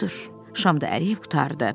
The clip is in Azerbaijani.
Budur, şam da əriyib qurtardı.